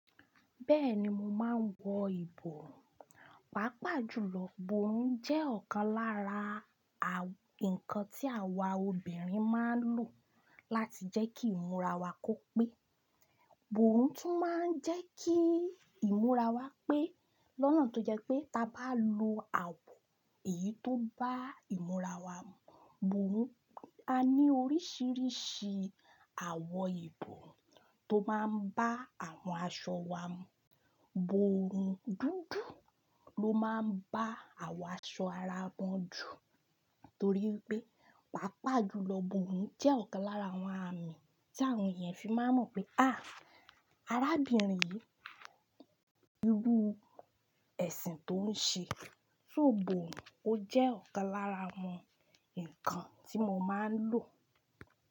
Bẹ́ẹ̀ni mo máa ń wọ ìbò. Pàápàá jùlọ, ibòrùn jẹ́ ọ̀kan lára àwọn nǹkan tí àwa obìnrin máa ń lò láti jẹ́ kí ìmúra wa kó pé. Ibòrùn tún máa ń jẹ́ kí ìmúra wa pé lọ́nà tó jẹ́ pé ta bá lo àwọ̀ èyí tó bá ìmúra wa mu. Bòhùn, a ní oríṣiríṣi àwọ̀ ìbò tó máa ń bá àwọn aṣọ wa mu. Iborun dúdú ló máa ń bá àwọn aṣọ ara mu jù torí pé, pàápàá jùlọ iborun jẹ́ ọ̀kan lára àwọn àmì tí àwọn ènìyàn fi máa ń mọ̀ pé, àá, arábìnrin yìí, irú ẹ̀sìn tó ń ṣe. So iborùn ó jẹ́ ọ̀kan lára àwọn nǹkan tí mo máa ń lò.